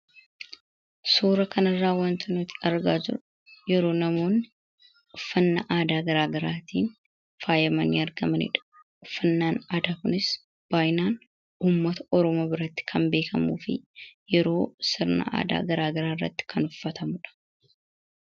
Suura kana irraa watnooti argaa jirru yeroo namoonni uffannaa aadaa garaagaraatiin faayamanii argamaniidha. Uffannaan aadaa kunis baay'inaan ummata oromo biratti kan beekamuu fi yeroo sirnaa aadaa garaagaraa irratti kan uffatamuudha.